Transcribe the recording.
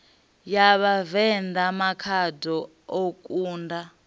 ya vhavenḓa makhado o kunda